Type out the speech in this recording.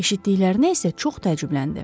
Eşitdiklərinə isə çox təəccübləndi.